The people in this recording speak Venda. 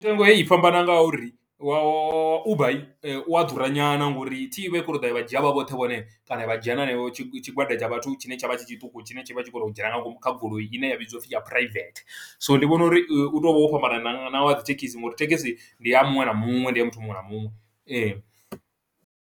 Mitengo heyi i fhambana nga uri wa Uber i ya ḓura nyana, ngo uri thi i vha i kho ṱo ḓa ya vha dzhia vha vhoṱhe vhone, kana vha dzhia na heneyo tshigwada tsha vhathu tshine tsha vha tshi tshiṱuku, tshine tshi vha tshi khou to u dzhena nga ngomu kha goloi, ine ya vhidziwa u pfi ya private. So ndi vhona uri u to vha wo fhambana na na wa dzi thekhisi, nga uri thekhisi ndi ya muṅwe na muṅwe, ndi ya muthu muṅwe na muṅwe.